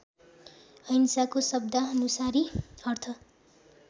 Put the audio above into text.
अहिंसाको शब्दानुसारी अर्थ